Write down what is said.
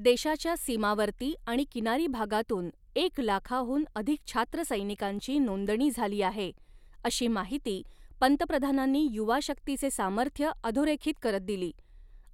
देशाच्या सीमावर्ती आणि किनारी भागातून एक लाखाहून अधिक छात्रसैनिकांची नोंदणी झाली आहे, अशी माहिती पंतप्रधानांनी युवा शक्तीचे सामर्थ्य अधोरेखित करत दिली